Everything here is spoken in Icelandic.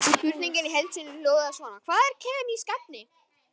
Spurningin í heild sinni hljóðaði svona: Hvað eru kemísk efni?